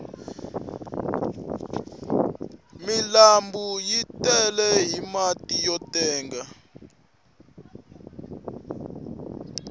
milanbu yi tele hi mati yo tenga